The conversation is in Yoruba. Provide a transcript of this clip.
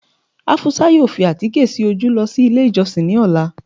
afusa yóò fi àtíkẹ́ sí ojú losí ilé ijosin ní ọla